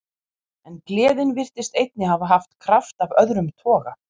En gleðin virtist einnig hafa haft kraft af öðrum toga.